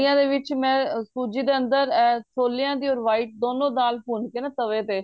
ਆ ਦੇ ਵਿੱਚ ਮੈਂ ਕੁੱਝ ਇਦੇ ਅੰਦਰ ਏ ਛੋਲਿਆਂ ਦੀ or white ਦੋਨੋ ਦਾਲ ਭੁੰਨ ਕੇ ਨਾ ਤਵੇ ਤੇ